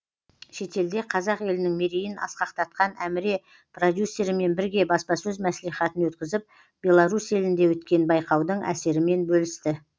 шетелде қазақ елінің мерейін асқақтатқан әміре продюсерімен бірге баспасөз мәслихатын өткізіп беларусь елінде өткен байқаудың әсерімен бөлісті